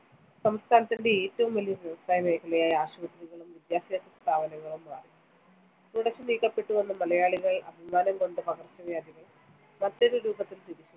സംസ്ഥാനത്തിന്റെ ഏറ്റവും വലിയ വ്യവസായ മേഖലയായി ആശുപത്രികളും വിദ്യാഭ്യാസ സ്ഥാപനങ്ങളും മാറി. തുടച്ച്‌ നീക്കപ്പെട്ടുവെന്ന്‌ മലയാളികൾ അഭിമാനം കൊണ്ട പകർച്ചവ്യാധികൾ മറ്റൊരു രൂപത്തിൽ തിരിച്ചുവന്നു.